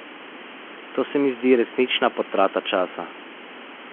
To se mi zdi resnična potrata časa.